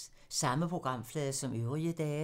Samme programflade som øvrige dage